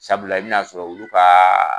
Sabula i bɛ na sɔrɔ olu kaaa.